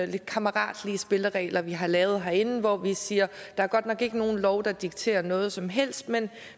lidt kammeratlige spilleregler vi har lavet herinde hvor vi siger at der godt nok ikke er nogen lov der dikterer noget som helst men